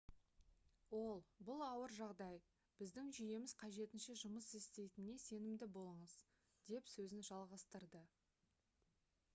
ол бұл ауыр жағдай біздің жүйеміз қажетінше жұмыс істейтініне сенімді болыңыз - деп сөзін жалғастырды